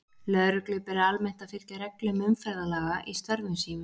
Lögreglu ber almennt að fylgja reglum umferðarlaga í störfum sínum.